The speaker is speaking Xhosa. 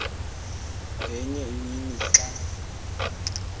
ngenye imini xa